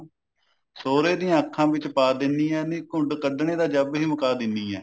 ਸਹੁਰੇ ਦੀਆਂ ਅੱਖਾਂ ਵਿੱਚ ਪਾ ਦਿੰਨੀ ਆ ਨੀ ਘੁੰਡ ਕੱਡਣੇ ਦਾ ਜੱਬ ਹੀ ਮੁਕਾ ਦਿੰਨੀ ਹਾਂ